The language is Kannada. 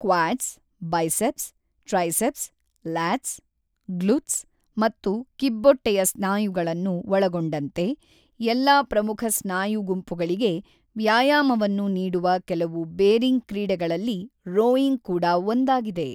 Quads, biceps, triceps, lats, glutes ಮತ್ತು ಕಿಬ್ಬೊಟ್ಟೆಯ ಸ್ನಾಯುಗಳನ್ನು ಒಳಗೊಂಡಂತೆ ಎಲ್ಲಾ ಪ್ರಮುಖ ಸ್ನಾಯು ಗುಂಪುಗಳಿಗೆ ವ್ಯಾಯಾಮವನ್ನು ನೀಡುವ ಕೆಲವು ಬೇರಿಂಗ್ ಕ್ರೀಡೆಗಳಲ್ಲಿ ರೋಯಿಂಗ್ ಕೂಡಾ ಒಂದಾಗಿದೆ.